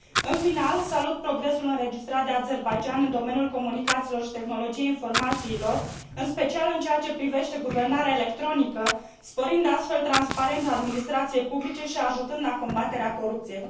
În final, salut progresul înregistrat de Azerbaidjan în domeniul comunicațiilor și tehnologiei informațiilor, în special în ceea ce privește guvernarea electronică, sporind astfel transparența administrației publice și ajutând la combaterea corupției.